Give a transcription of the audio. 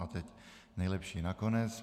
A teď nejlepší nakonec.